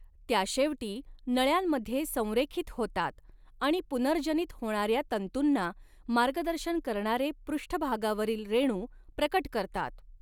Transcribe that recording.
त्या शेवटी नळ्यांमध्ये संरेखित होतात आणि पुनर्जनित होण्याऱ्या तंतूंना मार्गदर्शन करणारे पृष्ठभागावरील रेणू प्रकट करतात.